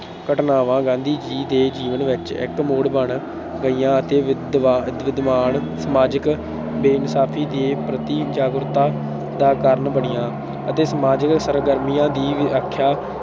ਘਟਨਾਵਾਂ ਗਾਂਧੀ ਜੀ ਦੇ ਜੀਵਨ ਵਿੱਚ ਇੱਕ ਮੋੜ ਬਣ ਗਈਆਂ ਅਤੇ ਸਮਾਜਿਕ ਬੇਇਨਸਾਫ਼ੀ ਦੇ ਪ੍ਰਤੀ ਜਾਗਰੂਕਤਾ ਦਾ ਕਾਰਨ ਬਣੀਆਂ ਅਤੇ ਸਮਾਜਿਕ ਸਰਗਰਮੀਆਂ ਦੀ ਵਿਆਖਿਆ